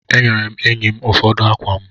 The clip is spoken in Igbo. E nyere m enyi m ụfọdụ akwa m.